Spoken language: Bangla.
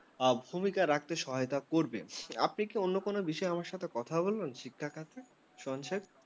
আ ভূমিকা রাখতে সহায়তা করবে আপনি কি অন্য কোন বিষয়ে আমার সাথে কথা বলবেন শিক্ষা ক্ষেত্রে সংক্ষেপ?